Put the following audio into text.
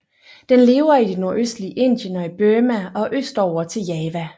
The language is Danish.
Den lever i det nordøstlige Indien og i Burma og østover til Java